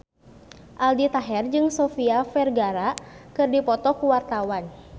Aldi Taher jeung Sofia Vergara keur dipoto ku wartawan